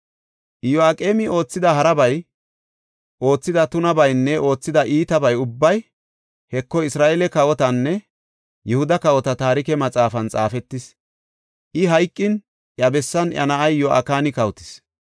Iyo7aqeemi oothida harabay, oothida tunabaynne oothida iitaba ubbay, Heko, Isra7eele kawotanne Yihuda kawota taarike maxaafan xaafetis. I hayqin, iya bessan iya na7ay Yo7akini kawotis.